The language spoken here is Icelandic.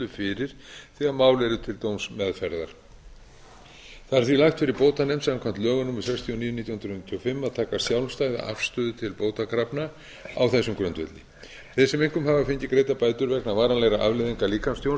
fyrir þegar mál eru til dómsmeðferðar það er því lagt fyrir bótanefnd samkvæmt lögum númer sextíu og níu nítján hundruð níutíu og fimm að að taka sjálfstæða afstöðu til bótakrafna á þessum grundvelli þeir sem einkum hafa fengið greiddar bætur vegna varanlegra afleiðinga líkamstjóns